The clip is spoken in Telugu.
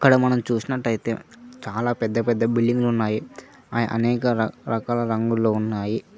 అక్కడ మనం చూసినట్టయితే చాలా పెద్ద పెద్ద బిల్డింగులు ఉన్నాయి అనేక రకాల రంగుల్లో ఉన్నాయి.